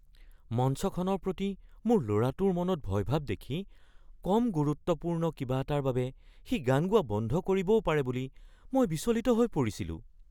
মঞ্চখনৰ প্ৰতি মোৰ ল’ৰাটোৰ মনত ভয়ভাৱ দেখি কম গুৰুত্বপূৰ্ণ কিবা এটাৰ বাবে সি গান গোৱা বন্ধ কৰিবও পাৰে বুলি মই বিচলিত হৈ পৰিছিলোঁ।